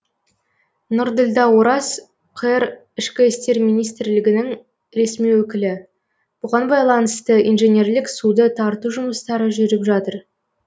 нұрділдә ораз қр ішкі істер министрлігі ресми өкілі бұған байланысты инженерлік суды тарту жұмыстары жүріп жатыр